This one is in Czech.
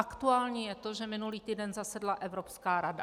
Aktuální je to, že minulý týden zasedla Evropská rada.